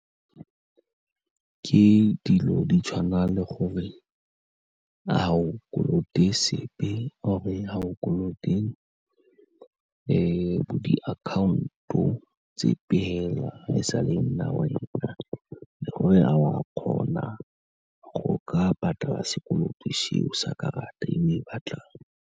Ke dilo di tshwana le gore ga o kolote sepe or-e ga o kolote bo diakhaonto, sepe fela, fa e sale e nna wena, e le gore a wa kgona go ka patala sekoloto seo sa karata e o e batlang.